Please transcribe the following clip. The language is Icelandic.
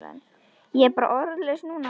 Ég er bara orðlaus núna.